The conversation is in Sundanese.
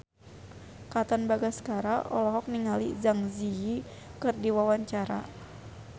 Katon Bagaskara olohok ningali Zang Zi Yi keur diwawancara